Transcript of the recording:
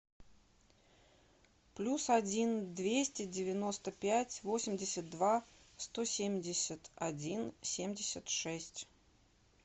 плюс один двести девяносто пять восемьдесят два сто семьдесят один семьдесят шесть